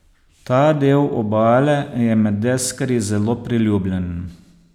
Ta del obale je med deskarji zelo priljubljen.